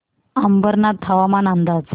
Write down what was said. अंबरनाथ हवामान अंदाज